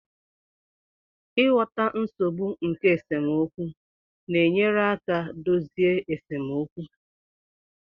Ịghọta nsogbu nke esemokwu na-enyere aka dozie esemokwu